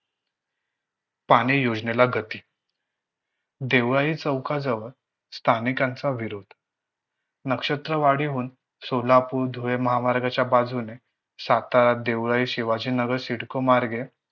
पाने योजनेला गती. देवाई चौकाजवळ स्थानिकांचा विरोध. नक्षत्रवाडीहून सोलापूर-धुळे महामार्गच्या बाजूने सातारा देवळाली शिवाजी नगर सिडको मार्गे